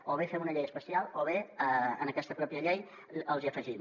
o bé fem una llei especial o bé en aquesta pròpia llei les hi afegim